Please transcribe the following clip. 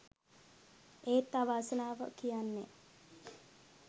ඒත් අවාසනාව කියන්නේ